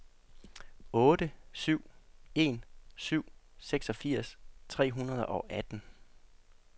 otte syv en syv seksogfirs tre hundrede og atten